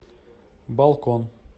балкон